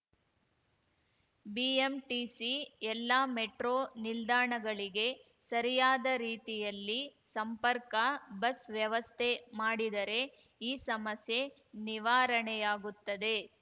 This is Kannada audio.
ಬಿಎಂಟಿಸಿ ಎಲ್ಲ ಮೆಟ್ರೋ ನಿಲ್ದಾಣಗಳಿಗೆ ಸರಿಯಾದ ರೀತಿಯಲ್ಲಿ ಸಂಪರ್ಕ ಬಸ್‌ ವ್ಯವಸ್ಥೆ ಮಾಡಿದರೆ ಈ ಸಮಸ್ಯೆ ನಿವಾರಣೆಯಾಗುತ್ತದೆ